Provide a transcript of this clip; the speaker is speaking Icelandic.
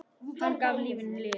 Hann gaf lífinu lit.